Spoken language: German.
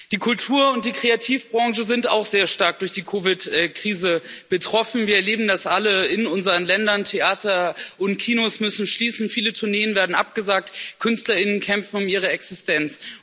Die Kultur und die Kreativbranche sind auch sehr stark durch die COVID Krise betroffen. Wir erleben das alle in unseren Ländern, Theater und Kinos müssen schließen, viele Tourneen werden abgesagt, Künstlerinnen und Künstler kämpfen um ihre Existenz.